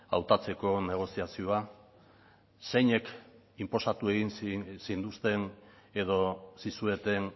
hautatzeko negoziazioa zeinek inposatu egin zintuzten edo zizueten